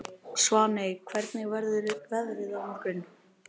Svaney, hvernig verður veðrið á morgun?